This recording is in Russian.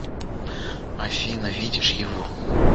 афина видишь его